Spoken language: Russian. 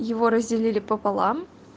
его разделили пополам